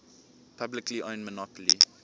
publicly owned monopoly